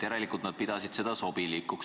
Järelikult nad pidasid seda sobilikuks.